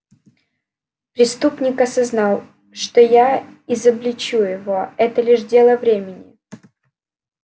преступник осознал что я изобличу его это лишь дело времени